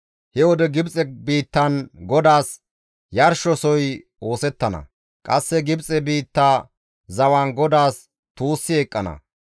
He wode Gibxe biittan GODAAS yarshosoy oosettana; qasse Gibxe biitta zawan GODAAS tuussi eqqana.